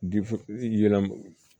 yɛlɛm